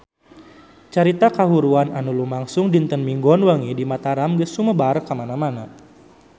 Carita kahuruan anu lumangsung dinten Minggon wengi di Mataram geus sumebar kamana-mana